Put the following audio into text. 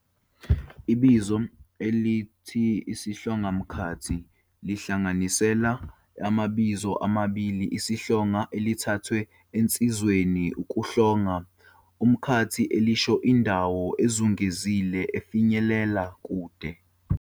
Ibizo elithi isihlongamkhathi liyinhlanganisela yamabizo amabili, 'isihlonga', elithathwe esenzweni ukuhlonga, 'umkhathi', elisho indawo ezungezile efinyelela kude.